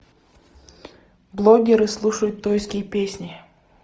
блогеры слушают тойские песни